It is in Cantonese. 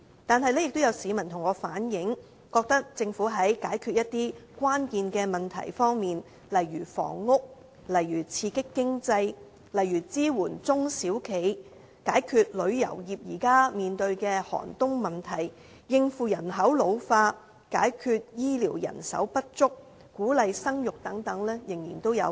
但是，也有市民向我反映，覺得政府在解決一些關鍵問題方面仍有不足之處，例如房屋、刺激經濟、支援中小企業、解決旅遊業現時面對的寒冬問題、應付人口老化、解決醫療人手不足及鼓勵生育等。